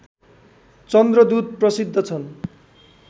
चन्द्रदूत प्रसिद्ध छन्